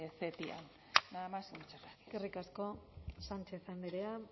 ctiam nada más y muchas gracias eskerrik asko sánchez andrea